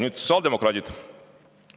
Nüüd sotsiaaldemokraadid.